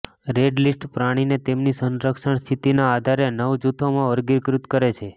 red list પ્રાણીને તેમની સંરક્ષણ સ્થિતિના આધારે નવ જૂથોમાં વર્ગીકૃત કરે છે